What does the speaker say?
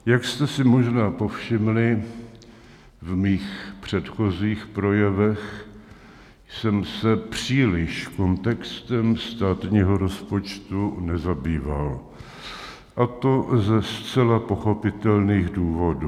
Jak jste si možná povšimli, ve svých předchozích projevech jsem se příliš kontextem státního rozpočtu nezabýval, a to ze zcela pochopitelných důvodů.